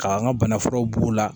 K'an ka bana furaw b'u la